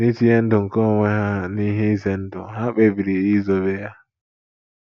N’itinye ndụ nke onwe ha n’ihe ize ndụ, ha kpebiri izobe ya.